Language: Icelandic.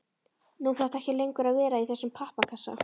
Nú þarftu ekki lengur að vera í þessum pappakassa.